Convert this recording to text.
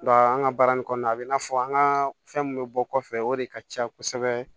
Nka an ka baara in kɔnɔna a bɛ n'a fɔ an ka fɛn min bɛ bɔ kɔfɛ o de ka ca kosɛbɛ